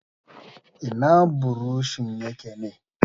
Ina buroshin yake ne?